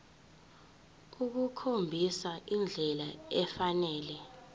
ukukhombisa indlela efanele